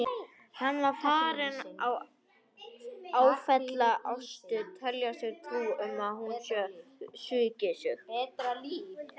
Hann var farinn að áfellast Ástu, telja sér trú um að hún hefði svikið sig.